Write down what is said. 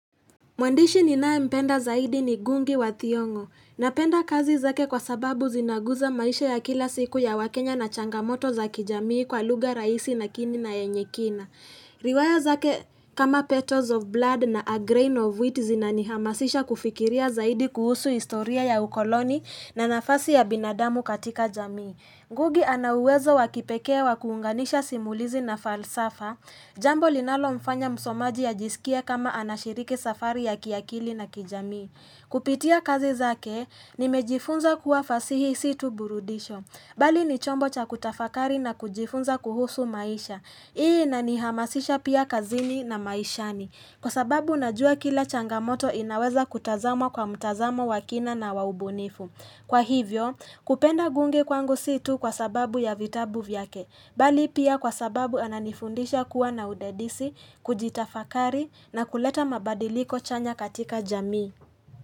Mwandishi ninayempenda zaidi ni gungi wa thiongo. Napenda kazi zake kwa sababu zinaguza maisha ya kila siku ya wakenya na changamoto za kijamii kwa lugha rahisi na kini na yenye kina. Riwaya zake kama petals of blood na a grain of wheat zinanihamasisha kufikiria zaidi kuhusu historia ya ukoloni na nafasi ya binadamu katika jamii. Ngugi ana uwezo wa kipekee wa kuunganisha simulizi na falsafa Jambo linalo mfanya msomaji ya ajisikie kama anashiriki safari ya kiakili na kijamii Kupitia kazi zake, nimejifunza kuwa fasihi si tu burudisho Bali ni chombo cha kutafakari na kujifunza kuhusu maisha Hii inanihamasisha pia kazini na maishani Kwa sababu najua kila changamoto inaweza kutazamwa kwa mtazamo wa kina na wa ubunifu Kwa hivyo, kupenda gunge kwangu si tu kwa sababu ya vitabu vyake, bali pia kwa sababu ananifundisha kuwa na udadisi, kujitafakari na kuleta mabadiliko chanya katika jamii.